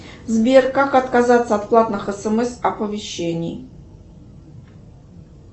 сбер как отказаться от платных смс оповещений